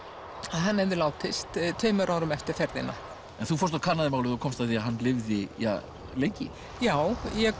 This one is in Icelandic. hann hefði látist tveimur árum eftir ferðina en þú fórst og kannaðir málið og komst að því að hann lifði ja lengi já ég